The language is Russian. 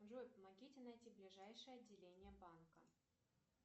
джой помогите найти ближайшее отделение банка